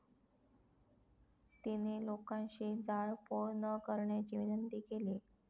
तिने लोकांशी जाळपोळ न करण्याची विनंती केली.